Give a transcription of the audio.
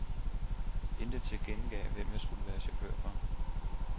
Intet tilkendegav, hvem de skulle være chauffører for.